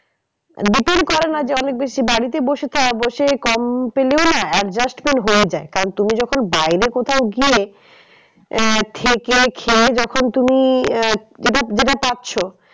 করে না যে অনেক বেশি বাড়িতে বসে বসে কম পেলেও না adjustment হয়ে যায় কারণ তুমি যখন বাইরে কোথাও গিয়ে আহ থেকে খেয়ে যখন তুমি আহ যেটা পাচ্ছ